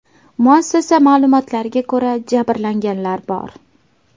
Muassasa ma’lumotlariga ko‘ra, jabrlanganlar bor.